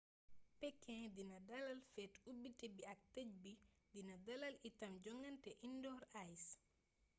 pékin dina dalal feet ubbité bi ak tëjbi dina dalal itam jongaante indoor ice